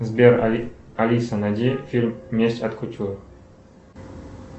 сбер алиса найди фильм месть от кутюр